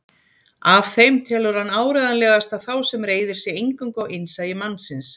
Af þeim telur hann áreiðanlegasta þá sem reiðir sig eingöngu á innsæi mannsins.